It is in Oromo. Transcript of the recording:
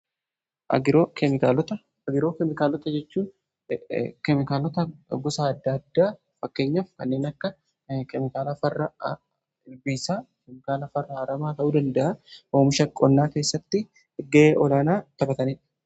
Agiroo keemikaalota jechuun keemikaalota gosa adda addaa fakkeenyaf kanneen akka kemikaala fara ilbiisaa keemikaalaa farra aramaa ta'uu danda'a oomisha qonnaa keessatti gahee olaanaa taphatanii.